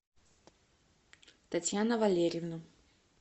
татьяна валерьевна